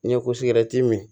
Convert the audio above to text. N'i ye min